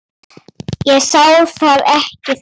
Ég sá það ekki þá.